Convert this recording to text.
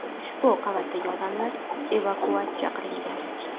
Ushbu qavatdagi odamlar evakuatsiya qilingan.